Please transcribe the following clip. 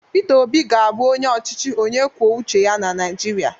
Peter Obi ga-abụ onye ọchịchị onye kwuo uche ya na Naịjirịa